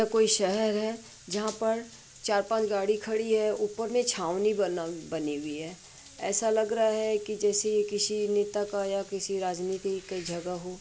कोई शहर है जहाँ पर चार-पांच गाड़ी खड़ी है। ऊपर में छावनी बना बनी हुई है ऐसा लग रहा है कि जैसे यह किसी नेता का या किसी राजनीती की जगह हो।